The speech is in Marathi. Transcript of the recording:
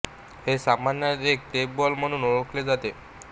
हे सामान्यतः एक टेप बॉल म्हणून ओळखले जाते